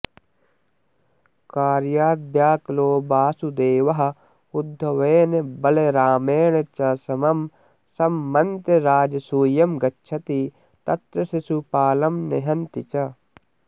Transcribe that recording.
कार्यद्वयाकुलो वासुदेवः उद्धवेन बलरामेण च समं संमन्त्र्य राजसूयं गच्छति तत्र शिशुपालं निहन्ति च